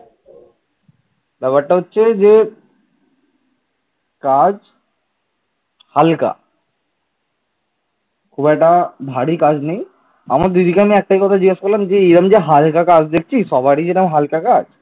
খুব একটা ভারী কাজ নেই আমি দিদিকে খালি একটাই কথা জিজ্ঞাসা করলাম যে এরকম যে হালকা কাজ দিচ্ছিস সবারই কি এরকম হালকা কাজ